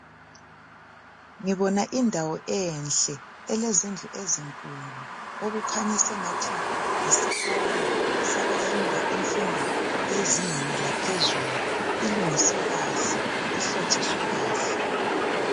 Ngibona indawo enhle elezindlu ezinkulu okukhanya sengathi yisikolo sabafunda imfundo yezingeni laphezulu ilungiswe kahle ihlotshiswe kahle .